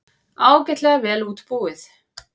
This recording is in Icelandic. Ágætlega vel útbúið.